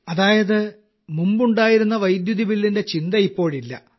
അതായത് മുമ്പ് ഉണ്ടായിരുന്ന വൈദ്യുതബില്ലിന്റെ ചിന്ത ഇപ്പോഴില്ല